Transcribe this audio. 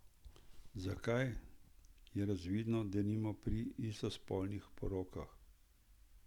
Zakaj, je razvidno denimo pri istospolnih porokah.